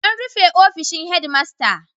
An rufe ofishin Headmaster.